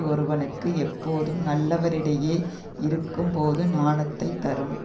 ஒருவனுக்கு எப்போதும் நல்லவரிடையே இருக்கும் போது நாணத்தைச் தரும்